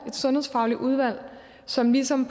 sundhedsfagligt udvalg som ligesom